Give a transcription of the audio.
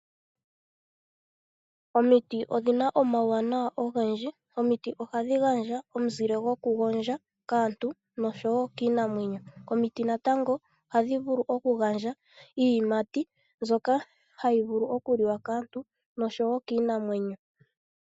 Omiti odhi na omauwanawa ogendji. Omiti ohadhi gandja omizile dhokugondja kaantu nosho wo kiinamwenyo. Omiti natango ohadhi vulu okugandja iiyimati mbyoka hayi vulu okuliwa kaantu nosho wo kiinamwenyo.